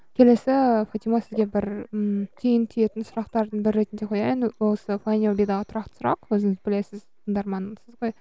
келесі фатима сізге бір ммм түйін түйетін сұрақтардың бірі ретінде қояйын осы файдюрбидегі тұрақты сұрақ өзіңіз білесіз тыңдарманымсыз ғой